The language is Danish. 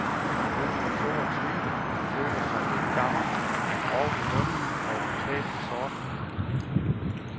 Hun er to og tyve, men føler sig ældgammel, er grov i munden og klædt i sort.